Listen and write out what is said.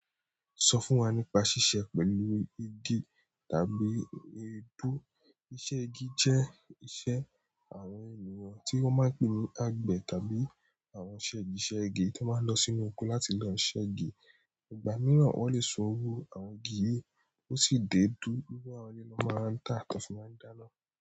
Sọ fún wa nípa ṣíṣe pẹ̀lú igi tàbí igbó. Iṣẹ́ igi jẹ́ iṣẹ́ àwọn ènìyàn tí wọ́n máa ń pè ní àgbẹ̀ tàbí àwọn ṣẹ́giṣẹ́gi tí máa ń lọ sínú oko láti lọ iṣẹ́ igi. Ìgbà mìíràn wọ́n lè san owó àwọn igi yìí, ó sì dé dúdú owó àwọn ilé lọ máa ń tà àti fún máa ń dáná.